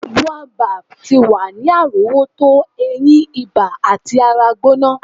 Boabab ti wa ni arowoto eyin, iba ati ara gbona.